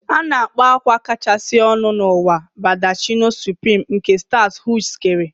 A na-akpọ akwa kachasị ọnụ n'ụwa Baldacchino Supreme, nke Stuart Hughes kere